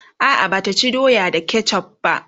a'a Bata ci doya da ketchuf va